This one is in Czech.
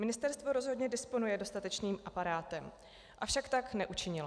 Ministerstvo rozhodně disponuje dostatečným aparátem, avšak tak neučinilo.